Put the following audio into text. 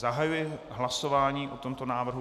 Zahajuji hlasování o tomto návrhu.